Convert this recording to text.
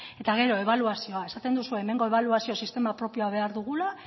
eta gero ebaluazioa esaten duzu hemengo ebaluazio sistema propio behar dugula